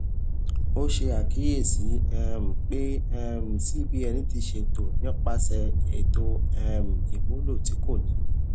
o ṣe akiyesi um pe um cbn ti ṣe to nipasẹ eto um imulo ti ko ni